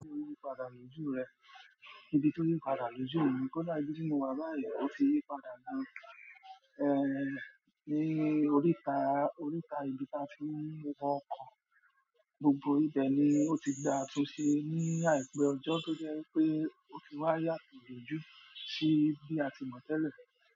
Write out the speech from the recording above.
Nípa dàlújú rẹ̀, ìdí tí ó yí padà lójú òun nì kó láìpẹ́ bí mo wà báyìí, ó ti yí padà gan, ehn, ní oríta, oríta ibi tí a ti ń wọkọ̀. Gbogbo ibẹ̀ ni ó ti gba a tó ṣe ní àìpé ọjọ́ tó jẹ́ pé ó ti wá yàtọ̀ lójú sí bí a ti mọ̀ tẹ́lẹ̀.